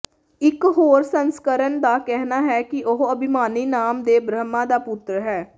ਇਕ ਹੋਰ ਸੰਸਕਰਨ ਦਾ ਕਹਿਣਾ ਹੈ ਕਿ ਉਹ ਅਭਿਮਾਨੀ ਨਾਮ ਦੇ ਬ੍ਰਹਮਾ ਦਾ ਪੁੱਤਰ ਹੈ